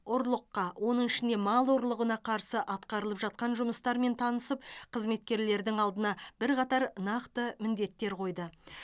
ұрлыққа оның ішінде мал ұрлығына қарсы атқарылып жатқан жұмыстармен танысып қызметкерлердің алдына бірқатар нақты міндеттер қойды